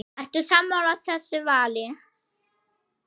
Ertu sammála þessu vali?